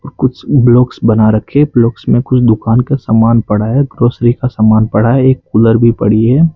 कुछ ब्लॉक्स बना रखे ब्लॉक्स मे कुछ दुकान का समान पड़ा है ग्रोसरी का समान पड़ा है एक कूलर भी पड़ी है।